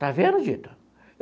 Está vendo, Dito?